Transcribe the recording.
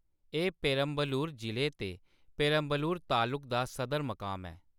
एह्‌‌ पेरम्बलुर जिले ते पेरम्बलुर तालुक दा सदर-मकाम ऐ।